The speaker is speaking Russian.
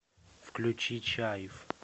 включи чайф